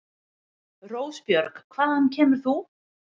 Rósbjörg, hvaðan kemur þú?